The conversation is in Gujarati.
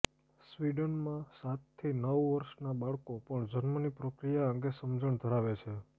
સ્વિડનમાં સાતથી નવ વર્ષનાં બાળકો પણ જન્મની પ્રક્રિયા અંગે સમજણ ધરાવે છે